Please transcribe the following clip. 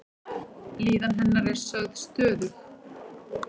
Líðan hennar er sögð stöðug.